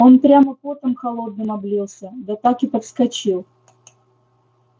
он прямо потом холодным облился да так и подскочил